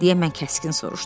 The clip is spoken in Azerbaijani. Deyə mən kəskin soruşdum.